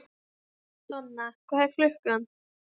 Þar ríkir mikilfengleikinn í göfugri kyrrð.